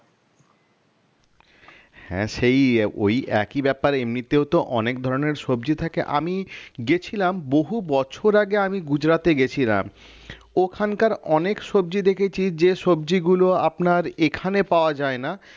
হ্যাঁ, সেই ওই একই ব্যাপার এমনিতেও তো অনেক ধরনের সবজি থাকে আমি গেছিলাম বহু বছর আগে আমি গুজরাটে গেছিলাম ওখানকার অনেক সবজি দেখেছি যে সবজিগুলো আপনার এখানে পাওয়া যায় না